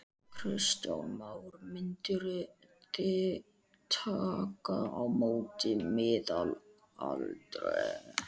Kristján: Mynduð þið taka á móti miðaldra kalli?